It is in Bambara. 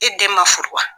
E den ma furu wa